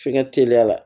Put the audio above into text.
F'i ka teliya la